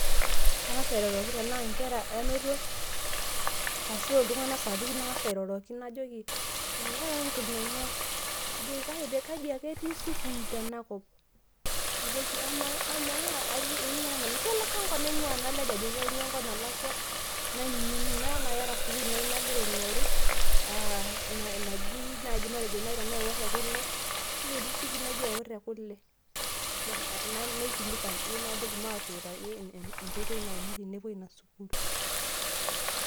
Kangasa airoroki tanaa nkera anoto arashu ltunganak sapukin nangasa airoroki najoki, irara nkunengai? kaji ake etii sukul tenakop? najoki amaa amaa aingua nanu ,kelakwa enkop naingua. nalej ajoki kaingua kaingua enkop nalakwa naimiiina nakeeta sukul nai nagira aingoru aaa najii naji matejo nai lekule ,ketii sukul naji eworoekule?na naikilikuan naji matuutaki enkoitoi naimi tenepoi inasukul.